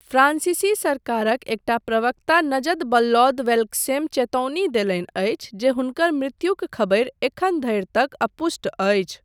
फ्रांसीसी सरकारक एकटा प्रवक्ता नजत वल्लौद बेल्कसेम चेतौनी देलनि अछि जे हुनकर मृत्युक खबरि एखन धरि तक अपुष्ट अछि।